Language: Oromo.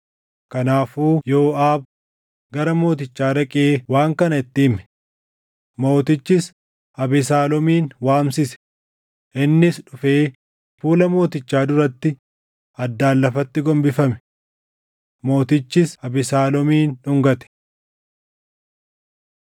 Kanaafuu Yooʼaab gara mootichaa dhaqee waan kana itti hime. Mootichis Abesaaloomin waamsise; innis dhufee fuula mootichaa duratti addaan lafatti gombifame. Mootichis Abesaaloomin dhungate.